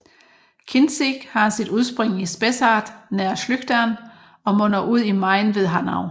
Kinzig har sit udspring i Spessart nær Schlüchtern og munder ud i Main ved Hanau